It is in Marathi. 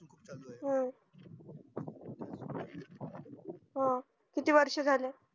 हम्म हं किती वर्ष झाली